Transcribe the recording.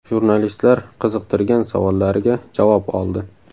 Jurnalistlar qiziqtirgan savollariga javob oldi.